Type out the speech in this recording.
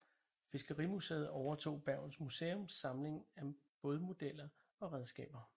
Fiskerimuseet overtog Bergens Museums samling af bådmodeller og redskaber